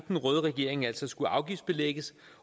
den røde regering altså skulle aftgiftsbelægges